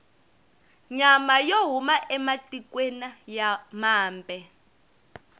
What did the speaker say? nyama yo huma ematikwena mambe